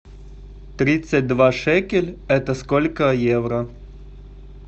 тридцать два шекель это сколько евро